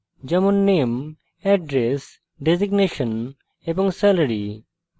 যেমন name address designation এবং salary